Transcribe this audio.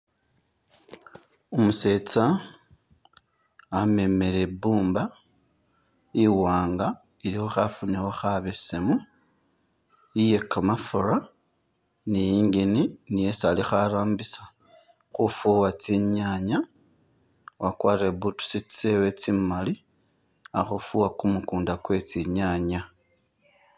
Umusetsa wamemele i bumba iwanga ilikho khafunikho kha besemu, iye kamafura ni engine niyo isi alikho arambisa khufuwa tsinyanya, wakwarire boots tsewe tsi mali akhufuwa kumukunda kwe tsi nyanya.